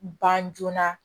Ban joona